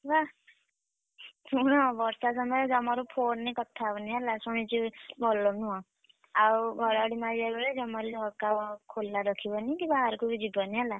ବାଃ! ଶୁଣ ବର୍ଷା ସମୟରେ ଜମାରୁ phone ରେ କଥା ହବନି ହେଲା ଶୁଣିଛି ଭଲ ନୁହଁ। ଆଉ ଘଡଘଡି ମାରିଲା ବେଳେ ଜମାରୁ ଝରକା ଖୋଲା ରଖିବନି କି ବାହାରକୁ ବି ଯିବନି ହେଲା।